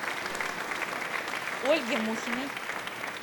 ольге мухиной